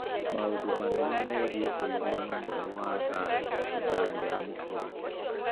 Maũndũ manene megiĩ ũiguano mwerũ wa thayu Sudan ya mũhuro